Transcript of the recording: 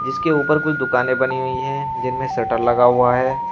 जिसके ऊपर कुछ दुकानें बनी हुई हैं जिनमें शटर लगा हुआ है।